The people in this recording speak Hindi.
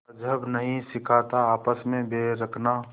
मज़्हब नहीं सिखाता आपस में बैर रखना